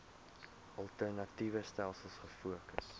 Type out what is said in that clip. alternatiewe stelsels gefokus